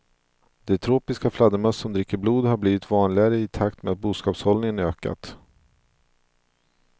De tropiska fladdermöss som dricker blod har blivit vanligare i takt med att boskapshållningen ökat.